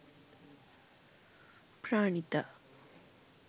pranitha